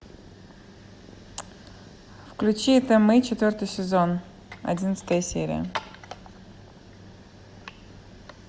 включи это мы четвертый сезон одиннадцатая серия